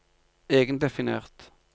egendefinert